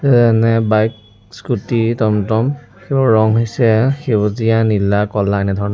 যেনে bike scooty টম-টম ৰং হৈছে সেউজীয়া নীলা ক'লা এনে ধৰণৰ।